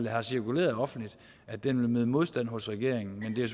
har cirkuleret offentligt vil møde modstand hos regeringen men det